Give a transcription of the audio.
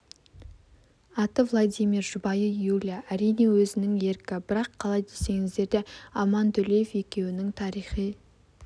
аты владимир жұбайы юлия әрине өзінің еркі бірақ қалай десеңіздер де аман төлеев екеуінің тарихи